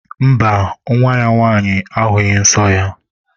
Mba, nwa ya nwaanyị ahughi nsọ ya.